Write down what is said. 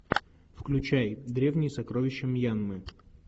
включай древние сокровища мьянмы